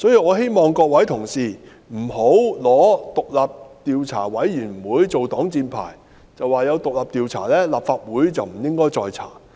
我希望各位同事不要以獨立調查委員會作擋箭牌，表示既然已有獨立調查，立法會便不應再進行調查。